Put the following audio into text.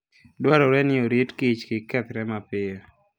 Dwarore ni orit kich kik kethre mapiyo.